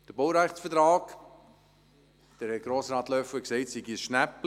Zum Baurechtsvertrag hat Grossrat Löffel gesagt, es handle sich um ein Schnäppchen.